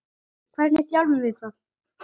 Hvernig þjálfum við það?